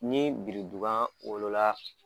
Ni biridiba wolola